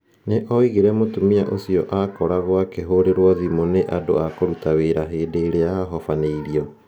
Nĩ aoigire mũtumia ũcio aakoragwo akĩhũrĩrũo thimũ nĩ andũ a kũruta wĩra hĩndĩ ĩrĩa arahobanĩrio.